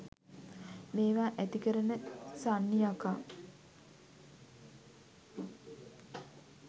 මේවා ඇතිකරන සන්නි යකා